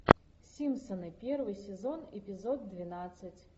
симпсоны первый сезон эпизод двенадцать